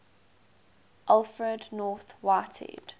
alfred north whitehead